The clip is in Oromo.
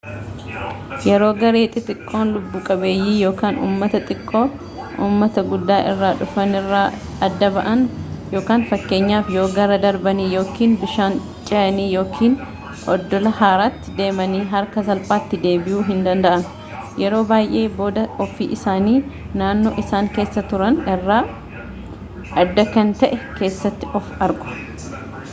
yeroo gareen xixiqqoo lubbu qabeeyyii ummata xiqqoo ummata gudda irra dhufani irraa adda ba’ani fakkeenyaaf yoo gaara darbanii yookin bishaan chehani yookin oddola haaratti demani akka salphaatti deebiyuu hin danda’an yeroo baayyee booda ofii isaanii naannoo isaan keessa turan irra adda kan ta’e keessatti of argu